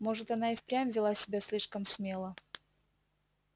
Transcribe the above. может она и впрямь вела себя слишком смело